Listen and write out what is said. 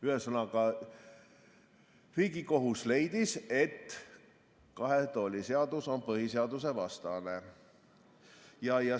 Ühesõnaga, Riigikohus leidis, et kahe tooli seadus on põhiseadusvastane.